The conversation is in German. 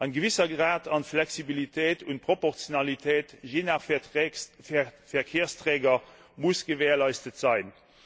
Ein gewisser Grad an Flexibilität und Proportionalität je nach Verkehrsträger muss gewährleistet sein.